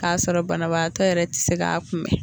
K'a sɔrɔ banabaatɔ yɛrɛ ti se k'a kunbɛn